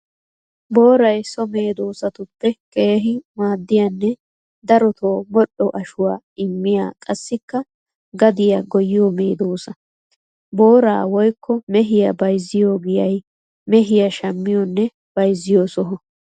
Booray so meedosatuppe keehi maadiyanne darotto modhdho ashuwaa immiya qassikka gadiya goyiyo medosa. Boora woykko mehiya bayzziyo giyay mehiya shamiyonne bayzziyo soho.